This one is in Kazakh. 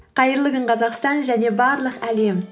қайырлы күн қазақстан және барлық әлем